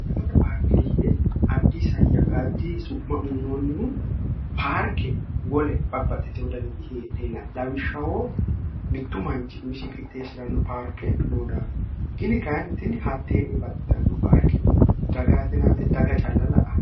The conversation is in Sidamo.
harlate paarke yine addiyaddi su'ma uunoonnihu paarke wole babbaxxite wodaniti hedheenati lawishshawoo mittu manchi misi kixteeshshi'ranno paarke noo daako gini kayinnitini hatteenni baxxitanno haarkeeti dagaatinaawete daga calla la'ao